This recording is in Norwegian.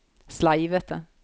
sleivete